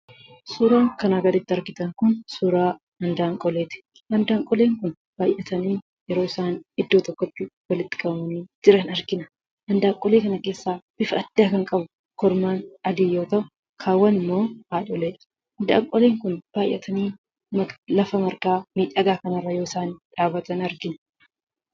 Suuraan kanaa gaditti argitan kun suuraa hindaanqoleeti. Hindaanqoleen kun baayyatanii yeroo isaan iddoo tokkotti walitti qabamanii jiran argina. Hindaanqolee kana keessaa bifa addaa kan qabu, kormaa adii yoo ta'u, kaawwanimmoo haadholeedha. Hindaanqoleen kun baayyatanii lafa margaa miidhagaa kanarra yoo isaan dhaabatan argina.